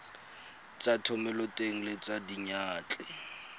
tsa thomeloteng le tsa diyantle